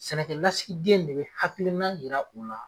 Sɛnɛlasigidenya de bɛ hakilinan jira u la.